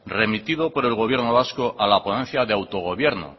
remitido por el gobierno vasco a la ponencia de autogobierno